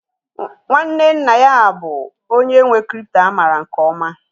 Nwanne nna ya bụ onye nwe crypto a maara nke ọma